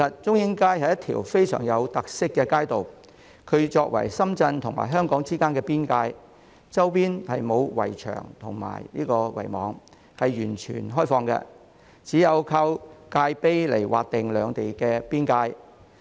中英街是一條非常有特色的街道，作為深圳和香港之間的邊界，周邊沒有圍牆和圍網，是完全開放的，只有靠界碑來劃定兩地邊界。